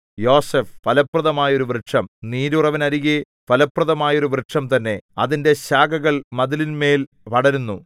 യോസേഫ് ഫലപ്രദമായോരു വൃക്ഷം നീരുറവിനരികെ ഫലപ്രദമായോരു വൃക്ഷം തന്നെ അതിന്റെ ശാഖകൾ മതിലിന്മേൽ പടരുന്നു